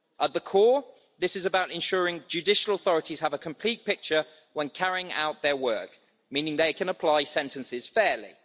At the core, this is about ensuring judicial authorities have a complete picture when carrying out their work, meaning they can apply sentences fairly.